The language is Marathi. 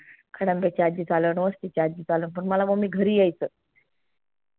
खडंब्याची आज्जी चाललं वस्ती ची आजी चाललं पण मला mummy घरी यायच